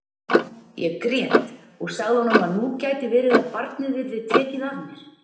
Ég grét og sagði honum að nú gæti verið að barnið yrði tekið af mér.